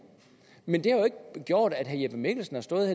men det har jo ikke gjort at herre jeppe mikkelsen har stået